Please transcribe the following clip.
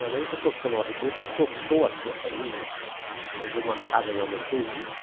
Mas aí o doutor Samuel Ribeiro adotou assim a família, arranjou uma casa na Rua Sergipe,